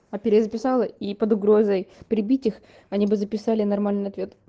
а перезаписала и под угрозой прибить их они бы записали нормальный ответ